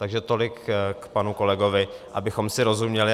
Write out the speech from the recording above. Takže tolik k panu kolegovi, abychom si rozuměli.